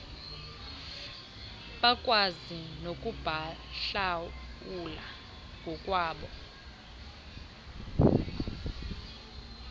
bakwazi nokubahlawula ngokwabo